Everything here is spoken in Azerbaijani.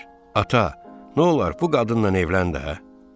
Ata, nolar bu qadınla evlən də, hə?